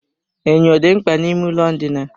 Enyo dị mkpa n'ime ụlọ ndina.